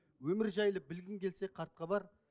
өмір жайлы білгің келсе хат хабар